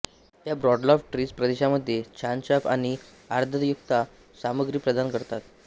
या broadleaf trees प्रदेशामध्ये छानछाप आणि आर्द्रतायुक्त सामग्री प्रदान करतात